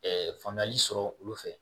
faamuyali sɔrɔ olu fɛ